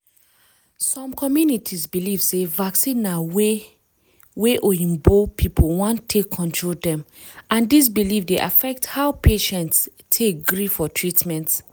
some communities believe sey vaccine na way wey oyibo people want take control dem and this belief dey affect how patients take agree for treatment.